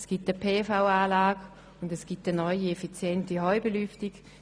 Es gibt ein PV-Anlage und eine neue effiziente Heubelüftung.